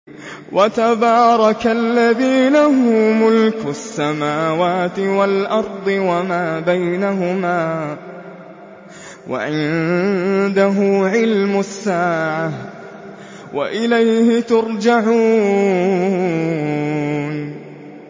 وَتَبَارَكَ الَّذِي لَهُ مُلْكُ السَّمَاوَاتِ وَالْأَرْضِ وَمَا بَيْنَهُمَا وَعِندَهُ عِلْمُ السَّاعَةِ وَإِلَيْهِ تُرْجَعُونَ